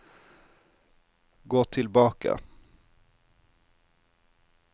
gå tilbake